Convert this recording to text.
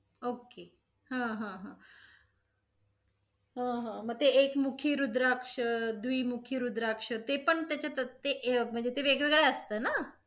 OK हा हा हा ह ह मग एक मुखी रुद्राक्ष, दुई मुखी रुद्राक्ष ते पण त्याच्यातच ते अ~ म्हणजे वेगवेगळं असत न?